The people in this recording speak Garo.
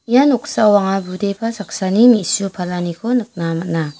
ia noksao anga budepa saksani me·su palaniko nikna man·a.